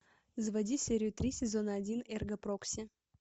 заводи серию три сезона один эрго прокси